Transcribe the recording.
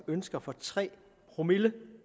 ønsker for tre promille